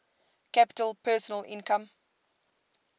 capita personal income